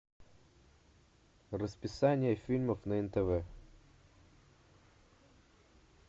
расписание фильмов на нтв